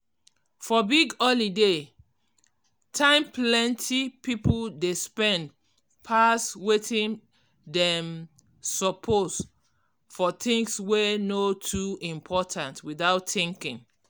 for big holiday time plenty people dey spend pass wetin dem um suppose for things wey no too important without thinking.